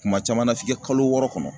Kuma caman na f'i ka kalo wɔɔrɔ kɔnɔ.